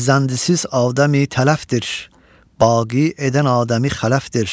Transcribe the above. Fərzəndisiz Adəmi tələfdir, baqi edən Adəmi xələfdir.